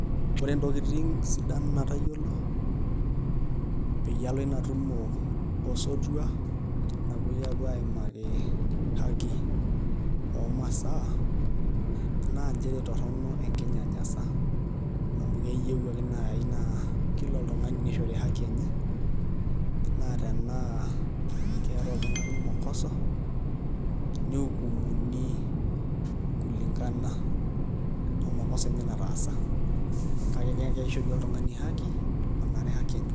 Ore ntokitin sidan natayiolo peyie alo ina tumo osotua napuoi aaimaki haki oomasaa naa nchere torrono enkinyanyasa amu keyieu ake naai naa kila oltung'ani nishori haki enye naa tenaa keeta oltung'ani mokoso niukumuni kulingana omokoso enye nataasa, kake kishori oltung'ani haki onare haki enye.